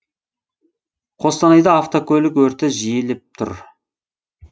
қостанайда автокөлік өрті жиілеп тұр